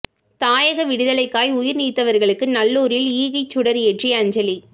தாயக விடுதலைக்காய் உயிர் நீத்தவர்களுக்கு நல்லூரில் ஈகை சுடர் ஏற்றி அஞ்சலி